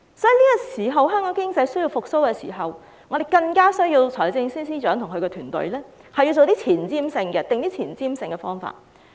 因此，在香港經濟需要復蘇的時候，我們更加需要財政司司長及其團隊制訂一些具前瞻性的措施。